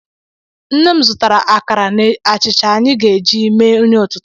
Nne m zụtara akara na achịcha anyị ga-eji mee nri ụtụtụ.